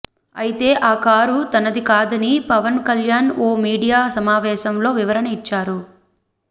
అయితే ఆ కారు తనది కాదని పవన్ కల్యాణ్ ఓ మీడియా సమావేశంలో వివరణ ఇచ్చారు